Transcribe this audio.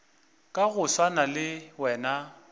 ka go swana le wena